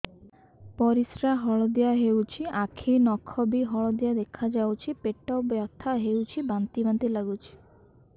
ପରିସ୍ରା ହଳଦିଆ ହେଉଛି ଆଖି ନଖ ବି ହଳଦିଆ ଦେଖାଯାଉଛି ପେଟ ବଥା ହେଉଛି ବାନ୍ତି ବାନ୍ତି ଲାଗୁଛି